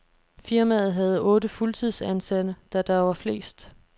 Firmaet havde otte fuldtidsansatte, da der var flest.